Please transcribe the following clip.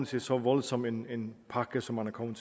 til så voldsom en en pakke som man er kommet